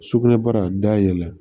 Sugunɛbara dayɛlɛ